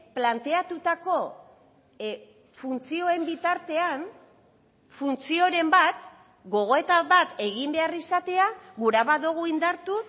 planteatutako funtzioen bitartean funtzioren bat gogoeta bat egin behar izatea gura badugu indartu